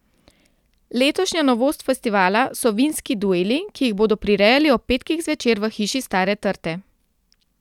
Letošnja novost festivala so Vinski dueli, ki jih bodo prirejali ob petkih zvečer v Hiši Stare trte.